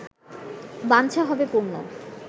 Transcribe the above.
বাঞ্ছা হবে পূর্ণ